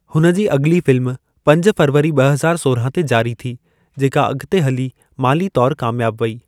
हुन जी अॻिली फ़िल्म पंज फरवरी ॿ हज़ाए सोरहां ते जारी थी, जेका अॻिते हली माली तौरु कामियाबु वेई।